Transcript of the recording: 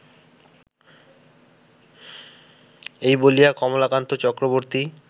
এই বলিয়া কমলাকান্ত চক্রবর্ত্তী